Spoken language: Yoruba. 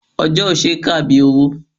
Ọjọ́ ò ṣe é kà bí owó.